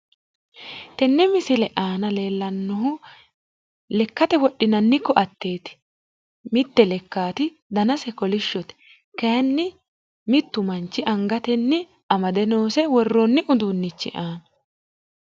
tenne misile aana leellannohu lekkate wodhinanni koatteeti. mitte lekkaati danase kolishshote kaayiinni mittu manchi angatenni amade noose worroonni uduunnichi aanna.